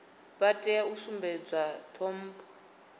vha tea u sumbedzwa ṱhompho